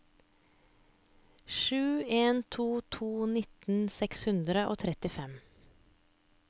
sju en to to nitten seks hundre og trettifem